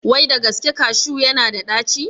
Wai da gaske kashu ya na da ɗaci?